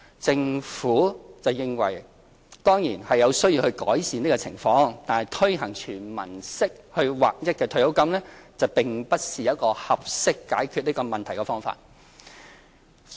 政府認為有需要改善有關情況，但推行"全民式"劃一退休金並不是合適解決這個問題的方法。